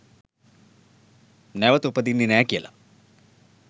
නැවත උපදින්නෙ නෑ කියලා.